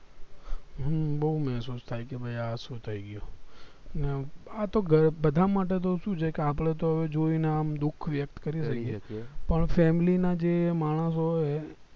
હમ બૌ મહેસુસ થાય કે ભય આ શું થય ગયું ને આ તો બધા માટે સુ છે કે આપડે તો હવે જોઈ ને આમ દુખ વ્યક્ત કરીએ છીએ પણ family ના જે માણસો હોય